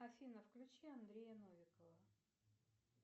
афина включи андрея новикова